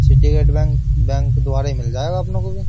Syndicate Bank bank द्वारा ही मिल जाएगा अपनो को भी --